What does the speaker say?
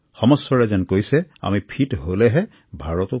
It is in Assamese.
সমস্বৰে যেন কৈছেআমি যদি সুস্থ হও ভাৰতবৰ্ষও সুস্থ হব